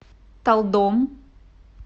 талдом